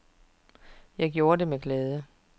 Det gjorde jeg med glæde.